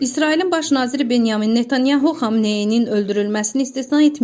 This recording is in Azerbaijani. İsrailin baş naziri Benyamin Netanyahu Xamneyinin öldürülməsini istisna etməyib.